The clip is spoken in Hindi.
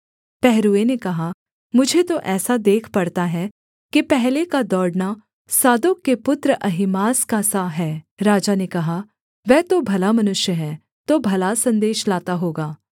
पहरुए ने कहा मुझे तो ऐसा देख पड़ता है कि पहले का दौड़ना सादोक के पुत्र अहीमास का सा है राजा ने कहा वह तो भला मनुष्य है तो भला सन्देश लाता होगा